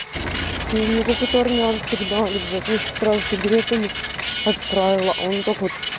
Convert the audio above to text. фу у меня какой-то армянцик давит блять меня сестра за сигаретами отправила а он вот так вот